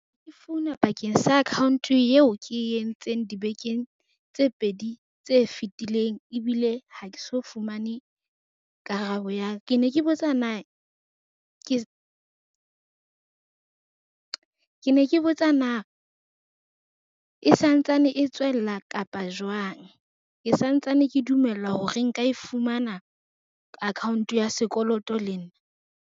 Ke founa bakeng sa account yeo ke entseng dibekeng tse pedi tse fetileng. Ebile ha ke so fumane karabo ya, ke ne ke botsa na e santsane e tswella kapa jwang? Ke santsane ke dumela hore nka e fumana account ya sekoloto le nna.